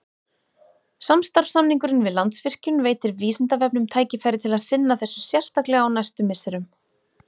Samstarfssamningurinn við Landsvirkjun veitir Vísindavefnum tækifæri til að sinna þessu sérstaklega á næstu misserum.